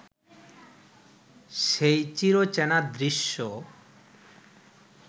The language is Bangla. সেই চিরচেনা দৃশ্য